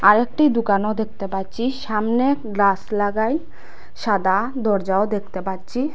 অরেকটি দুকানও দেখতে পাচ্ছি সামনে গ্লাস লাগাই সাদা দরজাও দেখতে পাচ্ছি।